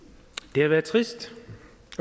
det har været trist